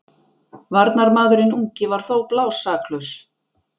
Varnarmaðurinn ungi var þó blásaklaus.